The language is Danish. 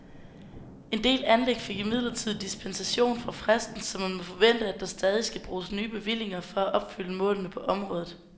En del anlæg fik imidlertid dispensation fra fristen, så man må forvente, at der stadig skal bruges nye bevillinger for at opfylde målene på området.